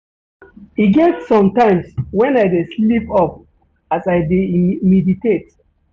E get some times wen I dey sleep off as I dey meditate.